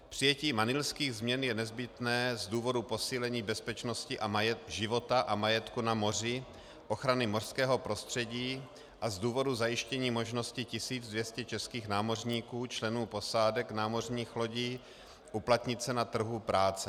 Přijetí Manilských změn je nezbytné z důvodu posílení bezpečnosti, života a majetku na moři, ochrany mořského prostředí a z důvodu zajištění možnosti 1200 českých námořníků, členů posádek námořních lodí uplatnit se na trhu práce.